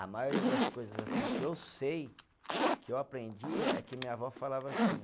A maioria das coisas assim que eu sei, que eu aprendi, é que minha avó falava assim.